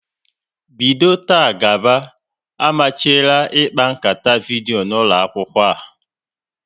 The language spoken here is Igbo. Bido taa gaba, amachiela ịkpa nkata vidyo n'ụlọ akwụkwọ a!